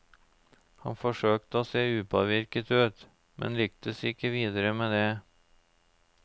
Han forsøkte å se upåvirket ut, men lyktes ikke videre med det.